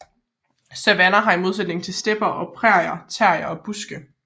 Savanner har i modsætning til stepper og prærier træer og buske